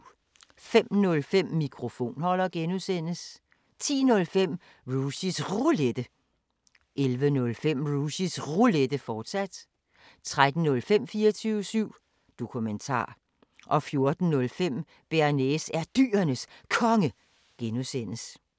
05:05: Mikrofonholder (G) 10:05: Rushys Roulette 11:05: Rushys Roulette, fortsat 13:05: 24syv Dokumentar 14:05: Bearnaise er Dyrenes Konge (G)